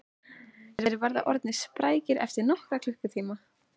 Þeir verða orðnir sprækir eftir nokkra klukkutíma